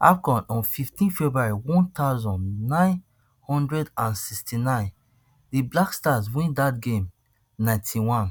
afcon on fifteen february one thousand, nine hundred and sixty-nine di black stars win dat game ninety-one